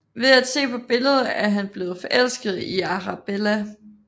Ved at se på billedet er han blevet forelsket i Arabella